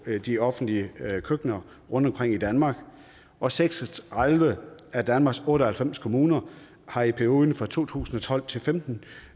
de offentlige køkkener rundtomkring i danmark og seks og tredive af danmarks otte og halvfems kommuner har i perioden fra to tusind og tolv til femten